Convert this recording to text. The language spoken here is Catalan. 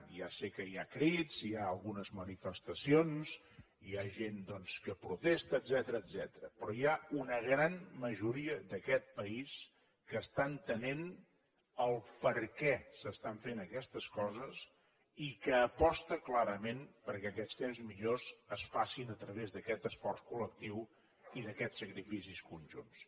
ja sé que hi ha crits hi ha algunes manifestacions hi ha gent doncs que protesta etcètera però hi ha una gran majoria d’aquest país que està entenent el perquè s’estan fent aquestes coses i que aposta clarament perquè aquests temps millors es facin a través d’aquest esforç col·lectiu i d’aquests sacrificis conjunts